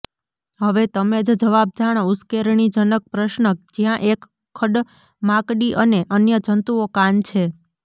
હવે તમે જ જવાબ જાણો ઉશ્કેરણીજનક પ્રશ્ન જ્યાં એક ખડમાકડી અને અન્ય જંતુઓ કાન છે